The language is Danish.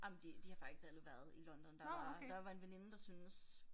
Ej men de de har faktisk alle været i London der var der var en veninde der syntes